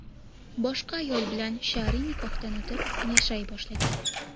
boshqa ayol bilan shar’iy nikohdan o‘tib, yashay boshlagan.